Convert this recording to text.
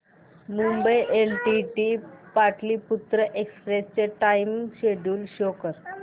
Mumbai LTT Pataliputra express चे time schedule show कर